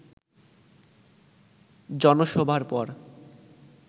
জনসভার পর